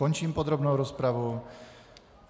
Končím podrobnou rozpravu.